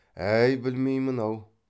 әй білмеймін ау